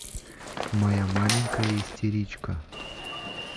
моя маленькая истеричка